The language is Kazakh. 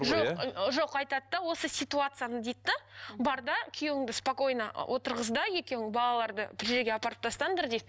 жоқ жоқ айтады да осы ситуацияны дейді де бар да күйеуіңді спокойно отырғыз да екеуің балаларды бір жерге апарып тастаңдар дейді